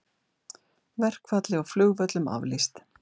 Verkfalli á flugvöllum aflýst